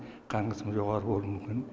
қан қысымы жоғары болуы мүмкін